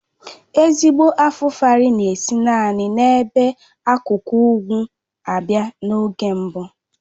Ezigbo Afufara na-esi naanị n'ebe akụkụ ugwu abị́a na-oge mbụ